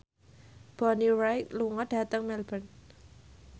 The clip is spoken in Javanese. Bonnie Wright lunga dhateng Melbourne